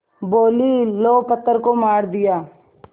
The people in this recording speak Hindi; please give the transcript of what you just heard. बोलीं लो पत्थर को मार दिया